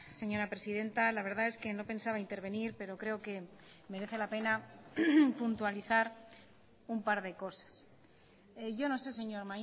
señora presidenta la verdad es que no pensaba intervenir pero creo que merece la pena puntualizar un par de cosas yo no sé señor